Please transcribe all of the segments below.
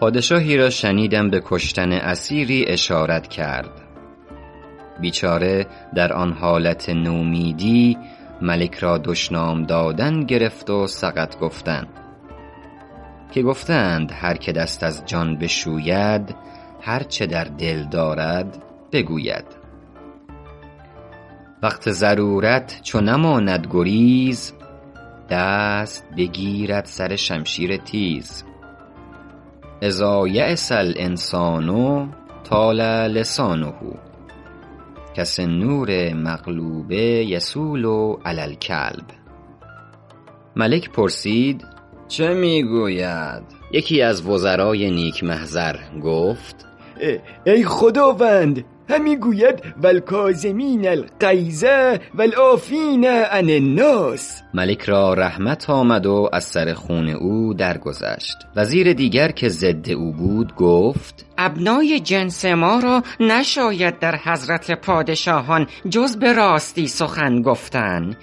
پادشاهی را شنیدم به کشتن اسیری اشارت کرد بیچاره در آن حالت نومیدی ملک را دشنام دادن گرفت و سقط گفتن که گفته اند هر که دست از جان بشوید هر چه در دل دارد بگوید وقت ضرورت چو نماند گریز دست بگیرد سر شمشیر تیز إذا ییس الإنسان طال لسانه کسنور مغلوب یصول علی الکلب ملک پرسید چه می گوید یکی از وزرای نیک محضر گفت ای خداوند همی گوید و الکاظمین الغیظ و العافین عن الناس ملک را رحمت آمد و از سر خون او درگذشت وزیر دیگر که ضد او بود گفت ابنای جنس ما را نشاید در حضرت پادشاهان جز به راستی سخن گفتن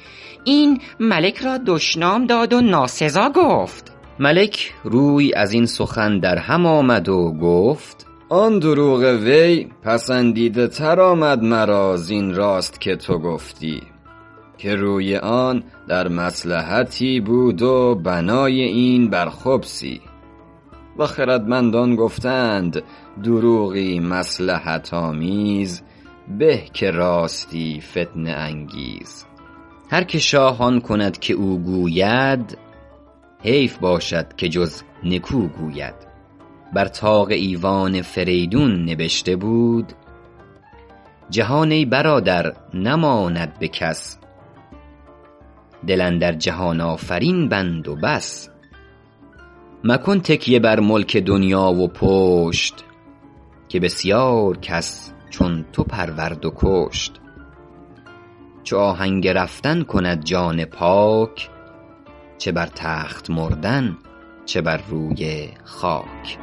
این ملک را دشنام داد و ناسزا گفت ملک روی از این سخن در هم آورد و گفت آن دروغ وی پسندیده تر آمد مرا زین راست که تو گفتی که روی آن در مصلحتی بود و بنای این بر خبثی و خردمندان گفته اند دروغی مصلحت آمیز به که راستی فتنه انگیز هر که شاه آن کند که او گوید حیف باشد که جز نکو گوید بر طاق ایوان فریدون نبشته بود جهان ای برادر نماند به کس دل اندر جهان آفرین بند و بس مکن تکیه بر ملک دنیا و پشت که بسیار کس چون تو پرورد و کشت چو آهنگ رفتن کند جان پاک چه بر تخت مردن چه بر روی خاک